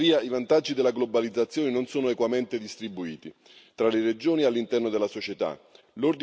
Tuttavia i vantaggi della globalizzazione non sono equamente distribuiti tra le regioni e all'interno della società.